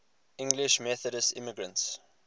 english methodist immigrants